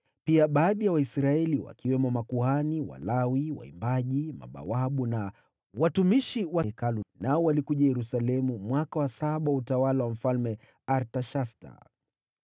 Pia baadhi ya Waisraeli, wakiwemo makuhani, Walawi, waimbaji, mabawabu na watumishi wa Hekalu, nao walikuja Yerusalemu mwaka wa saba wa utawala wa Mfalme Artashasta.